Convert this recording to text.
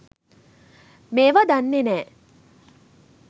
මේවා දන්නේ නෑ